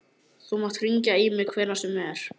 Þú mátt hringja í mig hvenær sem er.